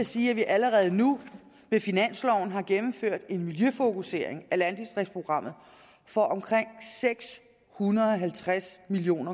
sige at vi allerede nu med finansloven har gennemført en miljøfokusering af landdistriktsprogrammet for omkring seks hundrede og halvtreds million